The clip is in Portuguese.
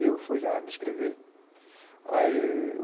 E eu fui lá e me inscrevi. Aí